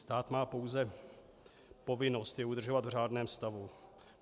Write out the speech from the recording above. Stát má pouze povinnost je udržovat v řádném stavu.